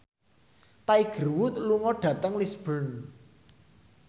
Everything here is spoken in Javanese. Tiger Wood lunga dhateng Lisburn